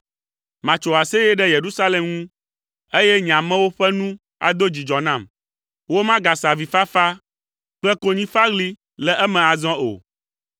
Matso aseye ɖe Yerusalem ŋu, eye nye amewo ƒe nu ado dzidzɔ nam. Womagase avifafa kple konyifaɣli le eme azɔ o.